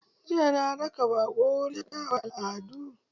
Jiya na raka baƙo wurin shaƙatawar al'adu.